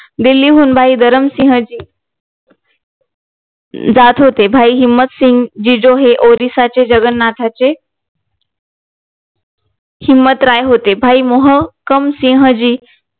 दिल्लीहून भाई धर्मसिंघ ची जात होते भाई हिम्मत सिंघ जी जो हे ओरिसाचे जग्गन्नाथचे हिम्मत राय होते भाई मोहकम सिह जी